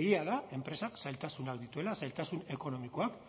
egia da enpresak zailtasunak dituela zailtasun ekonomikoak